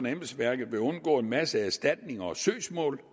embedsværket vil undgå en masse erstatninger og søgsmål